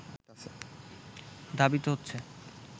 ধাবিত হচ্ছে